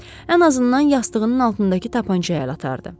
Ən azından yastığının altındakı tapançaya əl atardı.